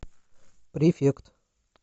префект